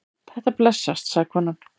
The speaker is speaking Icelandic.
Þetta blessast, sagði konan.